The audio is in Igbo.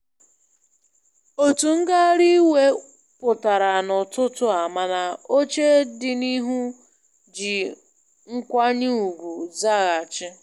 Otu ngagharị iwe pụtara n'ụtụtụ a, mana oche dị n'ihu ji nkwanye ugwu zaghachi.